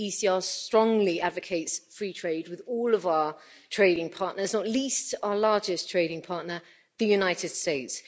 The ECR strongly advocates free trade with all of our trading partners, not least our largest trading partner, the United States.